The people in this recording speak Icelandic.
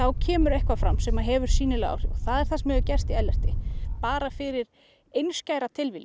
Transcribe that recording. kemur eitthvað fram sem hefur sýnileg áhrif og það er það sem hefur gerst í Ellerti bara fyrir einskæra tilviljun